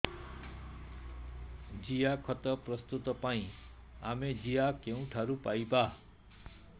ଜିଆଖତ ପ୍ରସ୍ତୁତ ପାଇଁ ଆମେ ଜିଆ କେଉଁଠାରୁ ପାଈବା